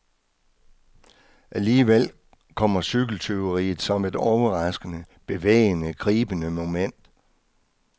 Alligevel kommer cykeltyveriet som et overraskende, bevægende, gribende moment.